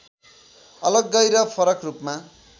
अलग्गै र फरक रूपमा